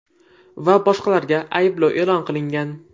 va boshqalarga ayblov e’lon qilingan.